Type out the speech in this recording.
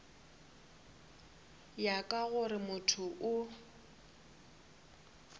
ya ka gore motho o